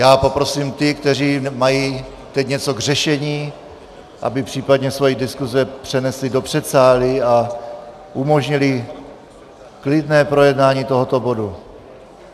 Já poprosím ty, kteří mají teď něco k řešení, aby případně svoje diskuse přenesli do předsálí a umožnili klidné projednání tohoto bodu.